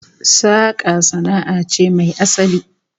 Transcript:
Saka sana'a ce mai asali